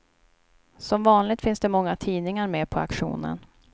Som vanligt finns det många tidningar med på auktionen.